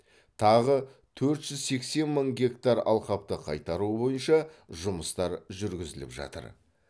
тағы төрт жүз сексен мың гектар алқапты қайтаруы бойынша жұмыстар жүргізіліп жатыр